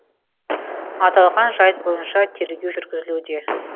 аталған жайт бойынша тергеу жүргізілуде